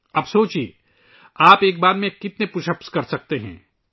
اب تصور کریں کہ آپ ایک بار میں کتنے پش اپس کر سکتے ہیں